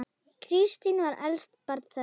Kristín var elst barna þeirra.